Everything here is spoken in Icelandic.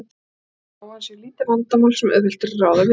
Við lítum svo á að hann sé lítið vandamál sem auðvelt er að ráða við.